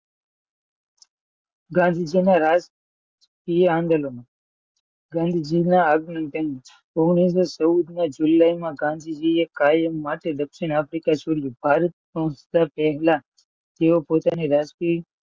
ગાંધીજી મહારાજ આંદોલન ઓગણીસો ચૌદ ને જુલાઈમાં ગાંધીજીએ કાયમ માટે દક્ષિણ આફ્રિકા છોડ્યું. તેઓ પોતાની રાજકીય,